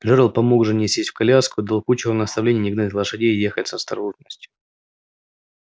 джералд помог жене сесть в коляску и дал кучеру наставление не гнать лошадей и ехать с осторожностью